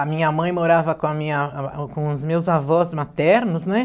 A minha mãe morava com a minha com os meus avós maternos, né?